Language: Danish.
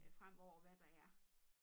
Øh fremover hvad der er